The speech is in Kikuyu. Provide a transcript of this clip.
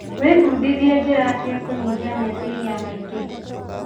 Wĩbundithie njĩra cia kũnyihia meciria maingĩ.